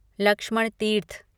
Lakshman Tirth